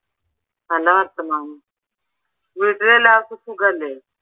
നല്ല വർത്താമാനം വീട്ടിൽ എല്ലാവർക്കും സുഖല്ലേ?